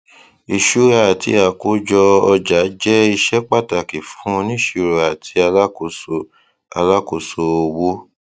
ìṣura àti àkójọ ọjà jẹ iṣẹ pàtàkì fún oníṣirò àti alákoso alákoso owó